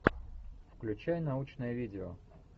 включай научное видео